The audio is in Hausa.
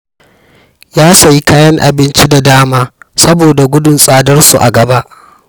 Ya sayi kayan abinci da dama saboda gudun tsadarsu a gaba